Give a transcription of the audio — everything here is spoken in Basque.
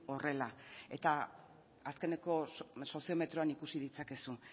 horrela eta azkeneko soziometroan ikusi ditzakezu